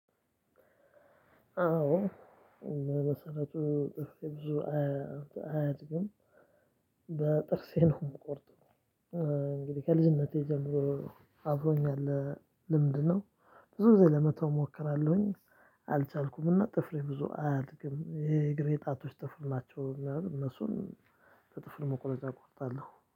አዎ። መሰረቱ ብዙ አያድግም። በጥርሴ ነው ምቆርጠው። እንግዲህ ከልጅነቴ ጀምሮ አብሮኝ ያለ ልምድ ነው። ብዙ ጊዜ ለመተው እሞክራለሁኝ። አልቻልኩም እና ጥፍሬ ብዙ አያድግም። እሄ የእግሬ ጣቶች ጥፍር ናቸው። ምናምን እነሱን በጥፍር መቁረጫ እቆርጣለው